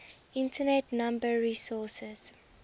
internet number resources